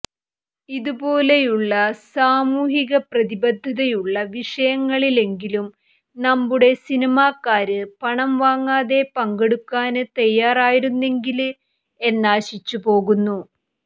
ഇതുപോലെയുള്ള സാമൂഹ്യപ്രതിബദ്ധതയുള്ള വിഷയങ്ങളിലെങ്കിലും നമ്മുടെ സിനിമാക്കാര് പണം വാങ്ങാതെ പങ്കെടുക്കാന് തയ്യാറായിരുന്നെങ്കില് എന്നാശിച്ചുപോകുന്നു